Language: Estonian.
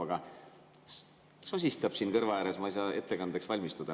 Aga ta sosistab siin kõrva ääres, ma ei saa ettekandeks valmistuda.